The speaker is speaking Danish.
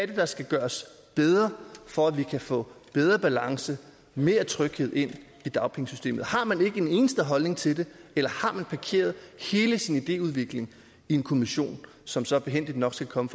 det der skal gøres bedre for at vi kan få bedre balance og mere tryghed ind i dagpengesystemet har man ikke en eneste holdning til det eller har man parkeret hele sin idéudvikling i en kommission som så behændigt nok skal komme